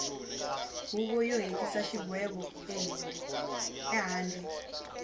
huvo yo hetisa xigwevo ehandle